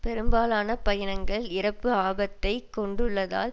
பெரும்பாலான பயணங்கள் இறப்பு ஆபத்தை கொண்டுள்ளதால்